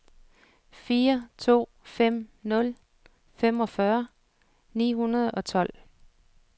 fire to fem nul femogfyrre ni hundrede og tolv